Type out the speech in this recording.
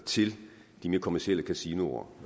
til de mere kommercielle kasinoer